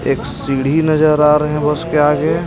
एक सीढी नजर आ रहे हैं उसके आगे.